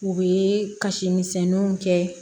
U bɛ kasi misɛnninw kɛ